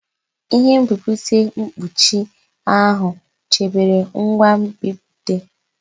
Ihe nbipute mkpuchi ahụ chebere ngwa nbipute.